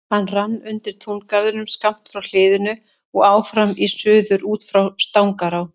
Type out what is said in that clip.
Hann rann undir túngarðinn skammt frá hliðinu og áfram í suður út í Stangará.